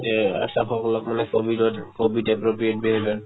গোটেই আশাসকলক মানে ক'ভিডত ক'ভিড appropriate behaviour